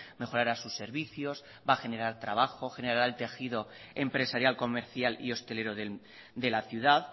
mejorará sus servicios va a generar trabajo generará el tejido empresarial comercial y hostelero de la ciudad